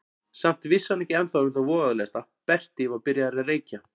Samt vissi hann ekki ennþá um það voðalegasta: Berti var byrjaður að reykja.